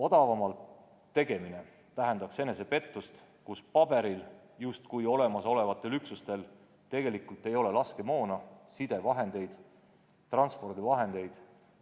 Odavamalt tegemine tähendaks enesepettust, kus paberil justkui olemasolevatel üksustel tegelikult ei ole piisavalt laskemoona, sidevahendeid ega transpordivahendeid.